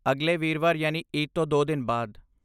ਅਗਲੇ ਵੀਰਵਾਰ ਯਾਨੀ ਈਦ ਤੋਂ ਦੋ ਦਿਨ ਬਾਅਦ।